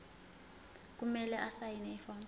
kumele asayine ifomu